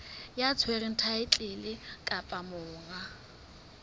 ya tshwereng thaetlele kapa monga